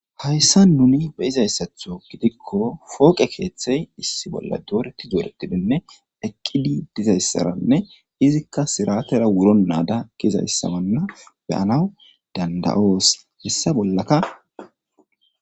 hayssa nuni be'izayssatho gidikko fooqe keeththey issi bolla dooreti dooretidinne eqqidi dizayssaranne izikka siratera wuro naada kizayssamanna beyanaw danda'os hessa bollaka